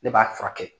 Ne b'a furakɛ